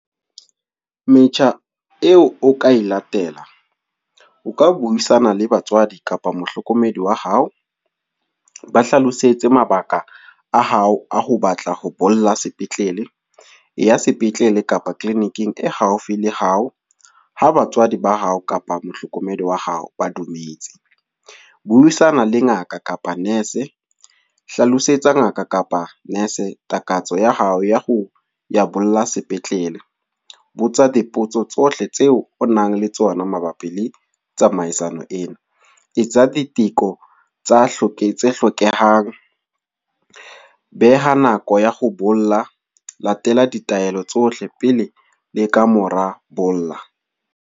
Metjha eo o ka latela, o ka buisana le batswadi kapa mohlokomedi wa hao. O ba hlalosetse mabaka a hao a ho batla ho bolella sepetlele. E ya sepetlele kapa clinic-ing e haufi le hao. Ha batswadi ba hao kapa mohlokomedi wa hao ba dumetse. Buisana le ngaka kapa nurse. Hlalosetsa ngaka kapa nurse takatso ya hao ya ho bolella sepetlele. Botsa dipotso tsohle tseo o nang le tsona mabapi le tsamaisano ena. Etsa diteko tsa hloke tse hlokehang. Beha nako ya ho bolla, latela ditaelo tsohle pele le ka mora bolla.